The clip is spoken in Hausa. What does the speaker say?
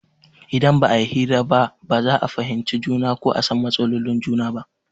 Idan ba a yi hira ba ba za a fahimci juna ko a san matsalolin juna ba.